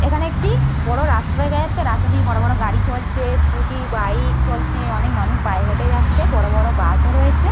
এখানে একটি বড় রাস্তা দেখা যাচ্ছে রাস্তা দিয়ে বড় বড় গাড়ি চলছে স্কুটি বাইক চলছে। অনেক মানুষ পায়ে হেঁটে যাচ্ছে। বড় বড় বাস ও রয়েছে।